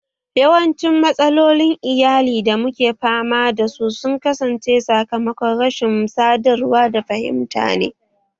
Yawancin matsalolin iyali da muke fama da su sun kasance sakamakon rashin sadarwa da fahimtar ne